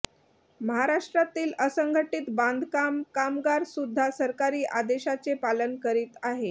महाराष्ट्रातील असंघटीत बांधकाम कामगार सुद्धा सरकारी आदेशाचे पालन करीत आहे